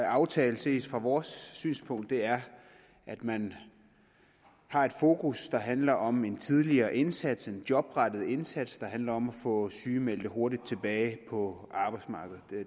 aftale set fra vores synspunkt er at man har et fokus der handler om en tidligere indsats en jobrettet indsats der handler om at få sygemeldte hurtigt tilbage på arbejdsmarkedet